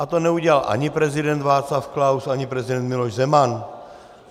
A to neudělal ani prezident Václav Klaus, ani prezident Miloš Zeman.